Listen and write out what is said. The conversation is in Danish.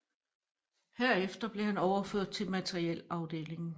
Herefter blev han overført til materiel afdelingen